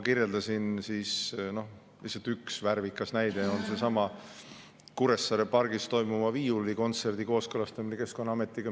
Lihtsalt üks värvikas näide, mida ma kirjeldasin, on seesama Kuressaare pargis toimuva viiulikontserdi kooskõlastamine Keskkonnaametiga.